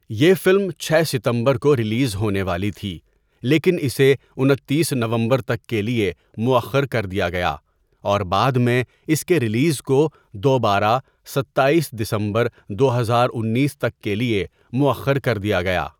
یہ فلم چھ ستمبر کو ریلیز ہونے والی تھی لیکن اسے انتیس نومبر تک کے لیے موٴخر کر دیا گیا، اور بعد میں اس کے رلیز کو دوبارہ ستایس دسمبر دو ہزار انیس تک کے لیے موٴخر کر دیا گیا۔